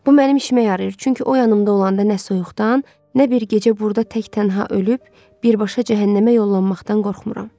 Bu mənim işimə yarayır, çünki o yanımda olanda nə soyuqdan, nə bir gecə burda tək-tənha ölüb, birbaşa cəhənnəmə yollanmaqdan qorxmuram.